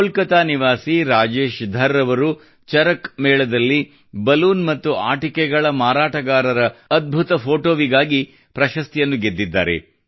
ಕೋಲ್ಕತ್ತಾದ ನಿವಾಸಿ ರಾಜೇಶ್ ಧರ್ ಅವರು ಚರಕ್ ಮೇಳ ದಲ್ಲಿ ಬಲೂನ್ ಮತ್ತು ಆಟಿಕೆಗಳ ಮಾರಾಟಗಾರರ ಅದ್ಭುತ ಫೋಟೋಗಾಗಿ ಪ್ರಶಸ್ತಿಯನ್ನು ಗೆದ್ದಿದ್ದಾರೆ